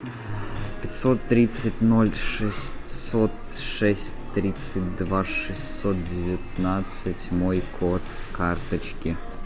пятьсот тридцать ноль шестьсот шесть тридцать два шестьсот девятнадцать мой код карточки